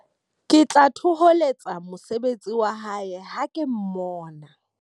Ke tla thoholetsa mosebetsi wa hae ha ke mmona.